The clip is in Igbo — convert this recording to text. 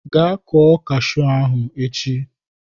Gaa kụọ cashew ahụ echi!